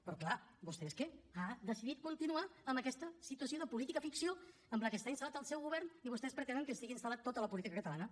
però clar vostè és que ha decidit continuar amb aquesta situació de política ficció en què està instal·lat el seu govern i vostès pretenen que estigui instal·lada tota la política catalana